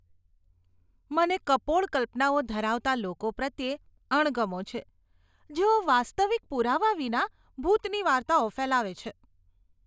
મને કપોળ કલ્પનાઓ ધરાવતા લોકો પ્રત્યે અણગમો છે, જેઓ વાસ્તવિક પુરાવા વિના ભૂતની વાર્તાઓ ફેલાવે છે.